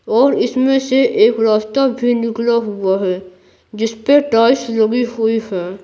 और इसमें से एक रास्ता भी निकला हुआ है जिस पे टॉइस लगी हुई है।